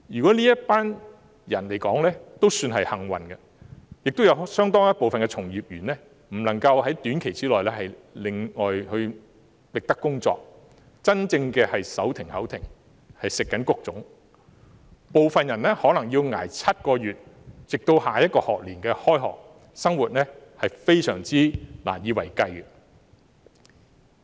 這群人也算較為幸運了，因為亦有相當一部分的從業員無法在短期內另覓工作，真正手停口停，要"食穀種"，部分人可能要捱7個月直至下學年開學，生活非常難以為繼。